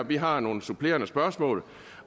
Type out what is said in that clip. vi har nogle supplerende spørgsmål